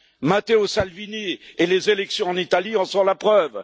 Matteo Salvini et les élections en Italie en sont la preuve.